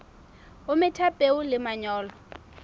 o metha peo le manyolo